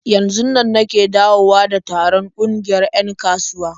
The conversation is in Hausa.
Yanzunnan nake dawowa da taron ƙungiyar 'yan kasuwa.